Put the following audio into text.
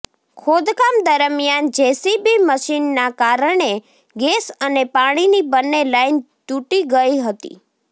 ખોદકામ દરમિયાન જેસીબી મશીનના કારણે ગેસ અને પાણીની બંને લાઇન તૂટી ગઇ હતી